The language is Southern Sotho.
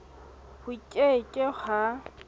ho ke ke h a